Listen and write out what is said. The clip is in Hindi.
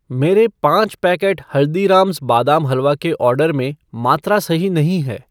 मेरे पाँच पैकेट हल्दीरामज़ बादाम हलवा के ऑर्डर में मात्रा सही नहीं है।